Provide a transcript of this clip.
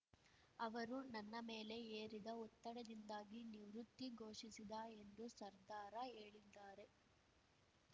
ಅವರು ನನ್ನ ಮೇಲೆ ಹೇರಿದ ಒತ್ತಡದಿಂದಾಗಿ ನಿವೃತ್ತಿ ಘೋಷಿಸಿದ ಎಂದು ಸರ್ದಾರ ಹೇಳಿದ್ದಾರೆ